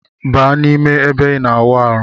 Baa na ime ebe ina awụ arụ.